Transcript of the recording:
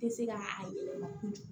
Tɛ se ka a yɛlɛma